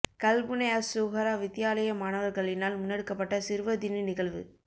கல்முனை அஸ் ஸூஹரா வித்தியாலய மாணவர்களினால் முன்னேடுக்கப்பட்ட சிறுவர் தின நிகழ்வு